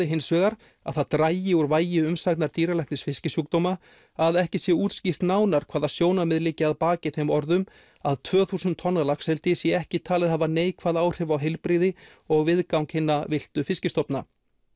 hins vegar að það dragi úr vægi umsagnar dýralæknis fiskisjúkdóma að ekki sé útskýrt nánar hvaða sjónarmið liggi að baki þeim orðum að tvö þúsund tonna laxeldi sé ekki talið hafa neikvæð áhrif á heilbrigði og viðgang hinna villtu fiskistofna